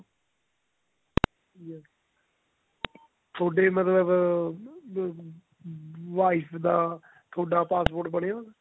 ਥੋਡੀ ਮਤਲਬ ਅਮ wife ਦਾ ਥੋਡਾ passport ਬਣਿਆ ਹੋਇਆ